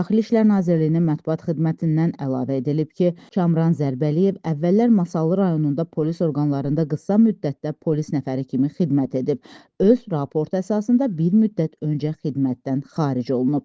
Daxili İşlər Nazirliyinin mətbuat xidmətindən əlavə edilib ki, Kamran Zərbəliyev əvvəllər Masallı rayonunda polis orqanlarında qısa müddətdə polis nəfəri kimi xidmət edib, öz raport əsasında bir müddət öncə xidmətdən xaric olunub.